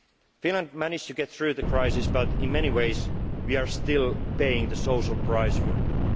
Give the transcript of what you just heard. and white. Finland managed to get through the crisis, but in many ways, we are still paying the social